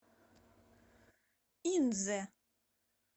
инзе